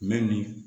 Mɛ ni